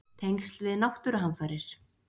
Tengsl við náttúruhamfarir?